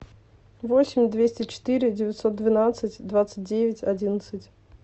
восемь двести четыре девятьсот двенадцать двадцать девять одиннадцать